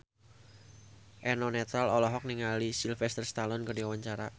Eno Netral olohok ningali Sylvester Stallone keur diwawancara